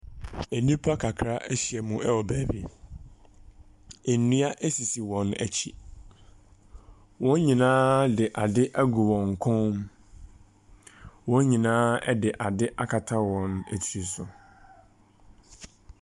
Enipa kakra ahyia mu ɛwɔ baabi, enua esisi wɔn akyi, wɔn nyinaa ɛde ade agu wɔn kɔn mu. Wɔn nyinaa ɛde ade akata wɔn etiri so.